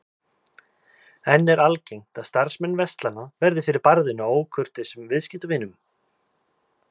En er algengt að starfsmenn verslana verði fyrir barðinu á ókurteisum viðskiptavinum?